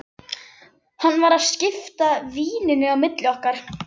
Hann var að skipta víninu á milli okkar!